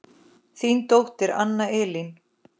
Þín dóttir Anna Elín.